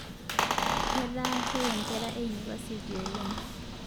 Ketaa keye nkera einipasiti oleng